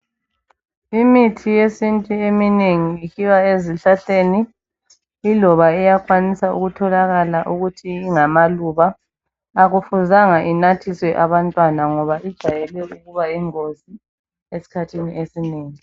Imithi yesiNtu eminengi isuka ezihlahleni. Iyakwanisa ukuba ngamaluba. Ayifuzanga inathiswe abantwana ngoba ijayele ukuba yingozi izikhathi ezinengi.